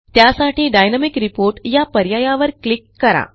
त्यासाठी dynamic report या पर्यायावर क्लिक करा